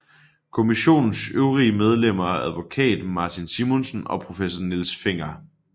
Kommissionens øvrige medlemmer er advokat Martin Simonsen og professor Niels Fenger